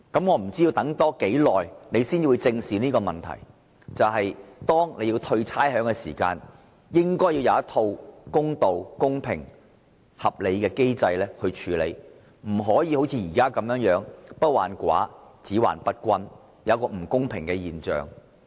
我不知道政府還要等多久才會正視這些問題，例如在退還差餉時，應該要有公平合理的機制，而不要像現在般，不患寡而患不均，導致不公平的現象。